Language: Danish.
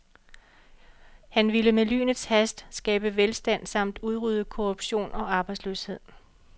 Han ville med lynets hast skabe velstand samt udrydde korruption og arbejdsløshed.